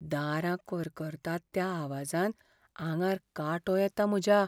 दारां करकरतात त्या आवाजान आंगार कांटो येता म्हज्या.